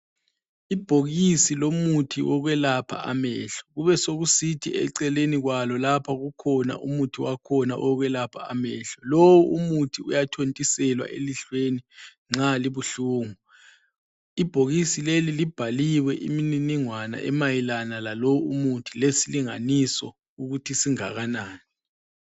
Ibhokisi lomuthi wokwelapha amehlo kubesokusithi eceleni kwalo lapha kukhona umuthi wakhona wokwelapha amehlo. Lo umuthi wakhona uyathontiselwa emehlweni nxa libuhlungu. Ibhokisi leli libhaliwe imininingwana emayelana lalo umuthi lezilinganiso ukuthi singakanani.